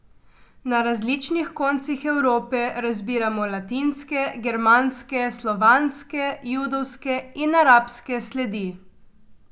Na različnih koncih Evrope razbiramo latinske, germanske, slovanske, judovske in arabske sledi.